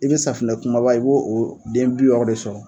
I bɛ safinɛ kumaba i b'o o den bi wɔɔrɔ de sɔrɔ.